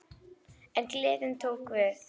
En gleðin tók við.